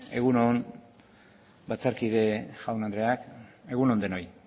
egun on batzarkide jaun andreak egun on denoi